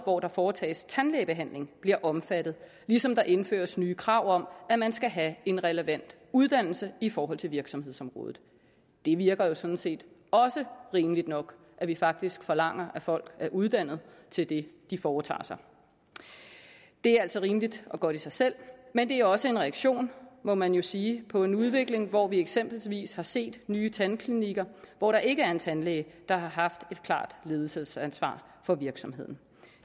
hvor der foretages tandlægebehandling bliver omfattet ligesom der indføres nye krav om at man skal have en relevant uddannelse i forhold til virksomhedsområdet det virker jo sådan set også rimeligt nok at vi faktisk forlanger at folk er uddannet til det de foretager sig det er altså rimeligt og godt i sig selv men det er også en reaktion må man jo sige på en udvikling hvor vi eksempelvis har set nye tandklinikker hvor der ikke er en tandlæge der har haft et klart ledelsesansvar for virksomheden